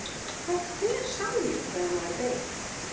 Hvert fer sálin þegar maður deyr?